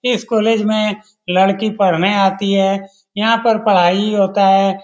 तस्वीर भी साटा गया है यहाँ पर एक आदमी --